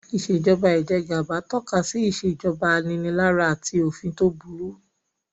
Ìṣèjoba ijẹgàba tọ́ka sí ìṣèjoba aninilára àti òfin tó burú